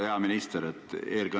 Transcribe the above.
Hea minister!